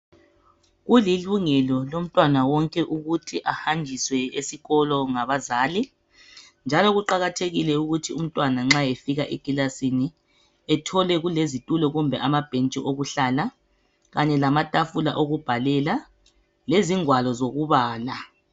Kulilungelo lomntwana wonke ukuthi ahanjiswe esikolo ngabazali njalo kuqakathekile ukuthi umntwana nxa efika ekilasini ethole kulezitulo kumbe amabhentshi okuhlala kanye lamatafula okubhalela, lezingwalo zokubala.